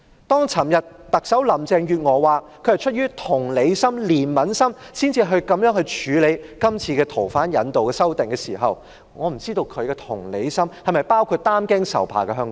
當昨天特首林鄭月娥表示她是出於同理心、憐憫心，才會這樣處理有關逃犯引渡的法例的修訂時，我不知道她的同理心是否包括擔驚受怕的香港人？